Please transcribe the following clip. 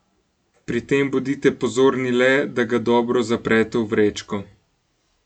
Pri tem bodite pozorni le, da ga dobro zaprete v vrečko.